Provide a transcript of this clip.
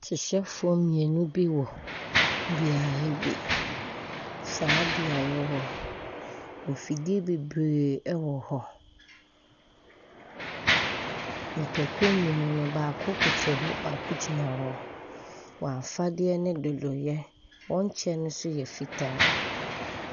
Hyehyɛfoɔ mmienu bi wɔ beaeɛ bi. Saa beaeɛ hɔ mfidie bebree ɛwɔ hɔ. Nnipakuo mmienu no baako koto hɔ na baako gyina hɔ. W'afadeɛ no dodoeɛ. Wɔn kyɛ no nso yɛ fitaa.